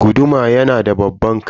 Guduma yanada babban kai.